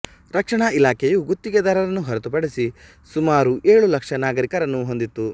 ರಕ್ಷಣಾ ಇಲಾಖೆಯು ಗುತ್ತಿಗೆದಾರರನ್ನು ಹೊರತುಪಡಿಸಿ ಸುಮಾರು ಏಳು ಲಕ್ಷ ನಾಗರಿಕರನ್ನು ಹೊಂದಿತ್ತು